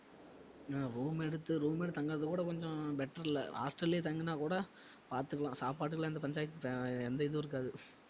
ஹம் room எடுத்து room எடுத்து தங்கறது கூட கொஞ்சம் better இல்ல hostel லயே தங்கினா கூட பாத்துக்கலாம் சாப்பாட்டுக்கெல்லாம் எந்த பஞ்சாயத்~ எந்த இதுவும் இருக்காது